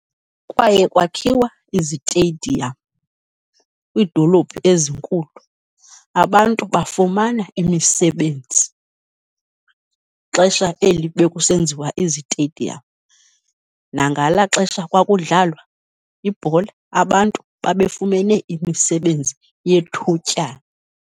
Kwaye kwakhiwa izitediyam kwiidolophu ezinkulu, abantu bafumana imisebenzi xesha eli bekusenziwa izitediyam, nangalaa xesha kwakudlalwa ibhola abantu babefumene imisebenzi yethutyana.